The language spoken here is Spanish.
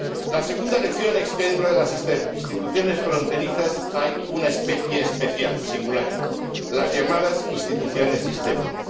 La segunda lección es que, dentro de las instituciones fronterizas, hay una especie especial, singular las llamadas instituciones sistémicas.